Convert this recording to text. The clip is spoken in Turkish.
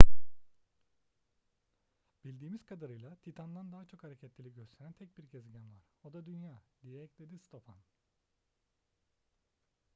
bildiğimiz kadarıyla titan'dan daha çok hareketlilik gösteren tek bir gezegen var o da dünya diye ekledi stofan